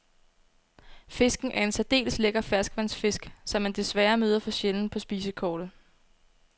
Fisken er en særdeles lækker ferskvandsfisk, som man desværre møder for sjældent på spisekortet.